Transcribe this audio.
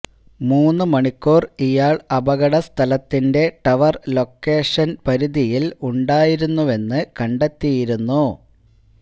മൂന്നു മണിക്കൂര് ഇയാള് അപകടസ്ഥലത്തിന്റെ ടവര് ലൊക്കേഷന് പരിധിയില് ഉണ്ടായിരുന്നുവെന്ന് കണ്ടെത്തിയിരുന്നു